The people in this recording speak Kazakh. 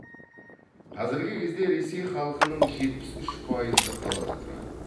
қазіргі кезде ресей халқының жетпіс үш пайызы қалада тұрады